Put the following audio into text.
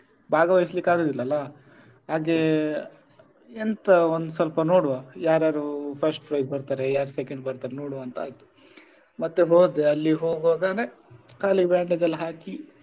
ಭಾಗವಹಿಸ್ಲಿಕ್ಕೆ ಆಗುದಿಲ್ಲ ಅಲ್ಲ ಹಾಗೆ ಎಂತ ಒಂದ್ಸ್ವಲ್ಪ ನೋಡುವ ಯಾರ್ಯ್ಯಾರು first prize ಬರ್ತಾರೆ ಯಾರ್ second ಬರ್ತಾರೆ ನೋಡುವ ಅಂತ ಆಯ್ತು ಮತ್ತೆ ಹೋದೆ ಅಲ್ಲಿಗೆ ಹೋಗುವಾಗನೆ ಕಾಲಿಗೆ bandage ಎಲ್ಲ ಹಾಕಿ.